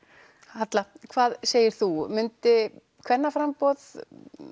halla hvað segir þú myndi kvennaframboð